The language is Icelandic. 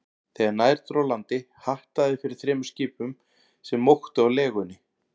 Þegar nær dró landi, hattaði fyrir þremur skipum, sem móktu á legunni.